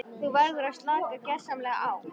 Þú verður að slaka gersamlega á.